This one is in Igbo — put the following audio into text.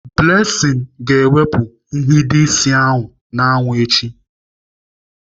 Blessing ga-ewepụ nhido ịsị n'anwụ echi.